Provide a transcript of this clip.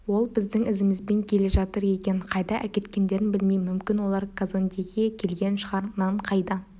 ол біздің ізімізбен келе жатыр екен қайда әкеткендерін білмеймін мүмкін олар казондеге келген шығар нан қайда